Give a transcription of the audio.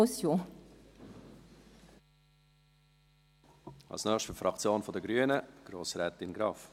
Als Nächstes für die Fraktion der Grünen: Grossrätin Graf.